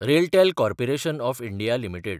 RailTel corporation of India limited